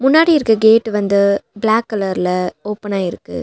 முன்னாடி இருக்க கேட் வந்து பிளாக் கலர்ல ஓப்பனா இருக்கு.